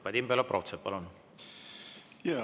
Vadim Belobrovtsev, palun!